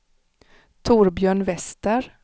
Torbjörn Wester